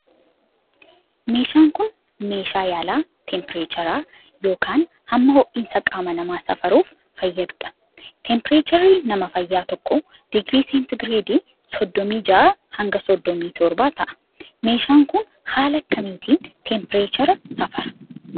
Meeshaan kun, meeshaa yaalaa teempireechara yokin hamma ho'iinsa qaama namaa safaruuf fayyaduu dha. Teempireecharri nama fayyaa tokkoo digirii seentigireedii soddomii ja'aa hanga soddomi torbaa ta'a. Meeshaan kun ,haala akka kamiitin teempireechara safara?